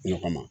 Ne kɔnɔ